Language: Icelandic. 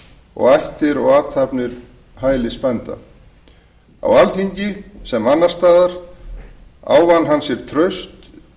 og ættir og athafnir hælsbænda á alþingi sem annars staðar ávann hann sér traust